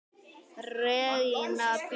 Regína Björk!